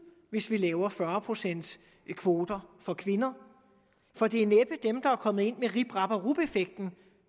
hvis vi laver fyrre procents kvoter for kvinder for det er næppe dem der er kommet ind med rip rap og rup effekten